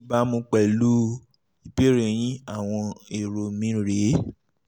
ní ìbámu pẹ̀lú ìbéèrè yín àwọn èrò mi rè é